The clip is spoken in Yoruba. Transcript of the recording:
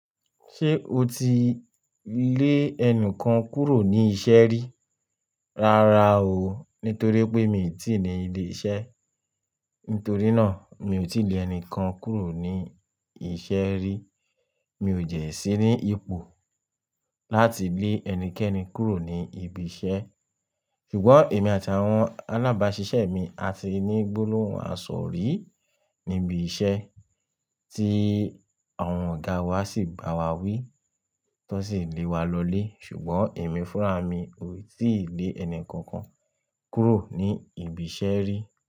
Ṣé o ti lè ẹni kan kúrò ní iṣẹ́ rí? Rárá o, nítorí pé mi i tí ì ní ilé iṣẹ́. Nítorí náà, mi ò tí lè ẹni kan kúrò ní iṣẹ́ rí. Mi ò jẹ́ sí ní ipò láti gbé ẹnikẹ́ni kúrò ní ibi iṣẹ́. Ṣùgbọ́n èmi àti àwọn alábáṣiṣẹ́ mi a ti ní gbólóhùn àsọ̀ rí níbi iṣẹ́ tí àwọn ọ̀gá wa sì bá wa wí, tó sì lé wa lọlé. Ṣùgbọ́n èmi fúnra mi ò tí lè ẹni kankan kúrò ní ibi iṣẹ́ rí.